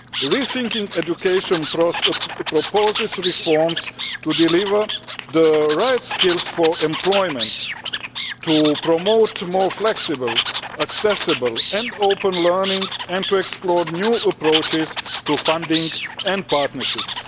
Rethinking Education' proposes reforms to deliver the right skills for employment, to promote more flexible, accessible and open learning, and to explore new approaches to funding and partnerships.